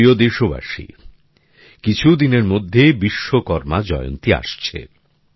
আমার প্রিয় দেশবাসী কিছুদিনের মধ্যে বিশ্বকর্মা জয়ন্তী আসছে